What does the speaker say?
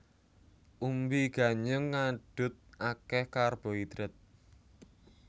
Umbi ganyong ngadhut akéh karbohidrat